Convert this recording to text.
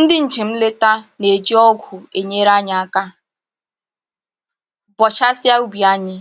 Ndị njem nleta na-eji ọgụ enyere anyị aka bọchasịa ubi anyị,